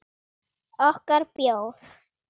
Okkar bjór.